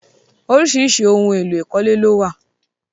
Oríṣiríṣi ohun èlò ìkọ́lé lówà.